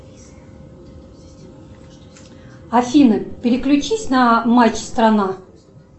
афина переключись на матч страна